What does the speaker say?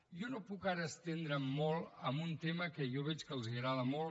jo no puc ara estendre’m molt en un tema que jo veig que els agrada molt